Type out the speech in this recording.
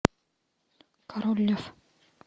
король лев